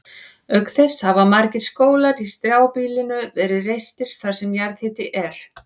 Auk þess hafa margir skólar í strjálbýlinu verið reistir þar sem jarðhiti er.